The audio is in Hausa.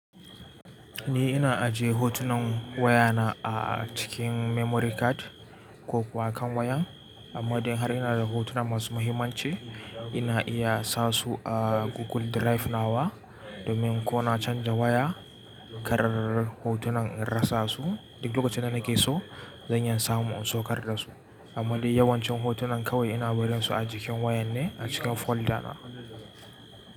Ni ina ajiye hotunan wayana a cikin memory card ko kuwa kan wayan. Amma dai har ina da hotuna masu muhimmanci, ina iya sa su a Google Drive na wa domin ko na canza waya, ƙarrr hotunan in rasa su. Duk lokacin da na ke so, zan iya samu in saukar da su. Amma dai yawancin hotunan kawai ina barin su a jikin wayan ne a cikin folder na.